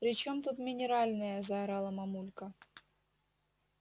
при чем тут минеральная заорала мамулька